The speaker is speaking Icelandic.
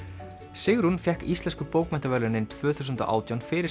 Sigrún fékk Íslensku bókmenntaverðlaunin tvö þúsund og átján fyrir